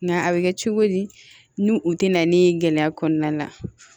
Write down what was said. Nga a bɛ kɛ cogo di nu u tɛ na ni gɛlɛya kɔnɔna la